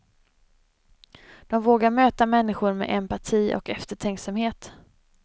De vågar möta människor med empati och eftertänksamhet.